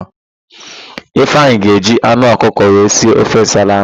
Ifeanyị ga-eji anụ ọkụkọ wee si ofe nsala ahụ.